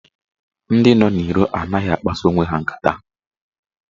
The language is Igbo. Ndị nọ n'iro anaghị akpasa onwe ha nkata.